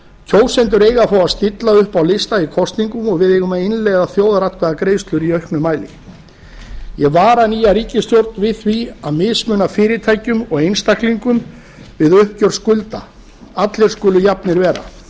kjósendur eiga að fá að stilla upp á lista í kosningum og við eigum að innleiða þjóðaratkvæðagreiðslur í auknu mæli ég vara nýja ríkisstjórn við því að mismuna fyrirtækjum og einstaklingum við uppgjör skulda allir skulu jafnir vera